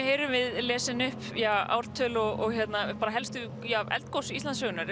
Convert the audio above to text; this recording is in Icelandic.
heyrum við lesin upp ártöl og helstu eldgos Íslandssögunnar